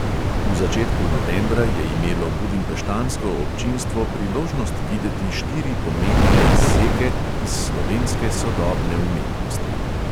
V začetku novembra je imelo budimpeštansko občinstvo priložnost videti štiri pomembne izseke iz slovenske sodobne umetnosti.